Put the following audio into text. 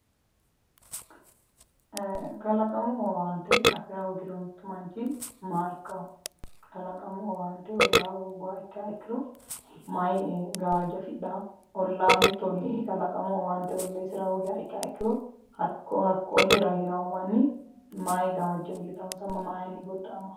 eee kalaqamu owaante afira hoogiro mittu manchi maa ikkawo kalaqamu owaante ollaaho hoogguha ikkiha ikkiro mayi gawajjo afidhawo ollaho mittu olli kalaqamu owaante olliisira hoogiha ikkiro hakko hakko ollira heerawo manni mayi gawajjo iillitawonsa mayinni godda'amawo?